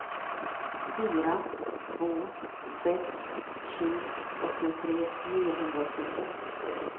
fyra två sex sju åttiotre niohundraåttiotre